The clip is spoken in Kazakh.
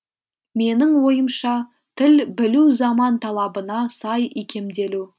менің ойымша тіл білу заман талабына сай икемделу